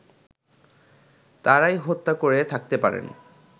তারাই হত্যা করে থাকতে পারেন